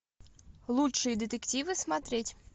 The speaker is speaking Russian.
лучшие детективы смотреть